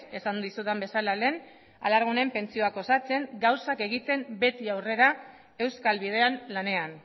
esan dizudan bezala lehen alargunen pentsioak osatzen gauzak egiten beti aurrera euskal bidean lanean